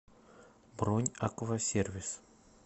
бронь аквасервис